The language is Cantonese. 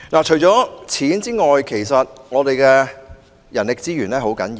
除了經費之外，其實人力資源也很重要。